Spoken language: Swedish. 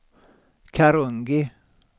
Karungi